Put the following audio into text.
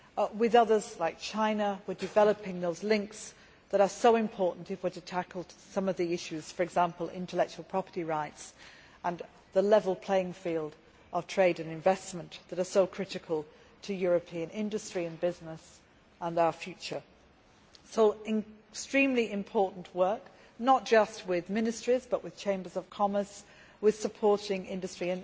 With others, such as China, we are developing those links that are so important if we are to tackle some of the issues, for example intellectual property rights and the level playing field of trade and investment that are so critical to European industry and business and our future. So it is extremely important work, not just with ministries but with Chambers of Commerce and supporting industry.